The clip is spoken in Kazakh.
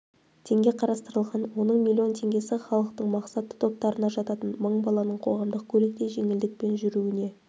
теңге қарастырылған оның млн теңгесі халықтың мақсатты топтарына жататын мың баланың қоғамдық көлікте жеңілдікпен жүруіне